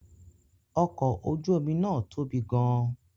Ọkọ̀ ojú omi náà tóbi gan-an